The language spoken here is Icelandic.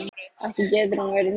Ekki getur hún verið hér ein.